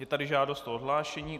Je tady žádost o odhlášení.